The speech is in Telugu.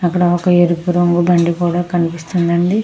అక్కడ ఒక ఎరుపు రంగు బండి కూడా కనిపిస్తూ వుంది అండి.